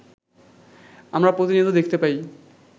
আমরা প্রতিনিয়ত দেখতে পাই